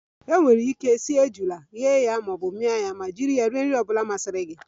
E nwere ike sie ejula, ghe ya maọbụ mia ya ma jiri nri ọbula masiri gi rie ya